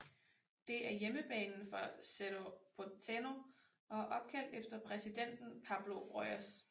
Det er hjemmebanen for Cerro Porteño og er opkaldt efter præsidenten Pablo Rojas